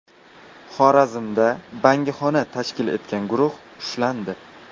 Xorazmda bangixona tashkil etgan guruh ushlandi.